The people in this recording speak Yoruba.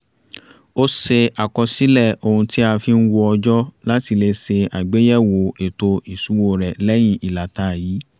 ó ṣe àkọsílẹ̀ ohun tí a fi ń wo ọjọ́ láti lè ṣe àgbéyẹ̀wò ètò iṣúwó rẹ̀ lẹ́yìn ìlàta yìí